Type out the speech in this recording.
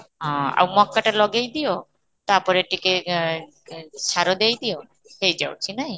ହଁ, ଆଉ ମକାଟା ଲଗେଇ ଦିଅ, ତା'ପରେ ଟିକେ ଆଁ ଆଁ ସାର ଦେଇ ଦିଅ ହେଇ ଯାଉଛି ନାଇ